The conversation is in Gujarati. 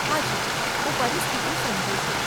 હાજી, હું પરિસ્થિતિ સમજું છું.